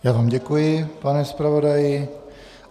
Já vám děkuji, pane zpravodaji.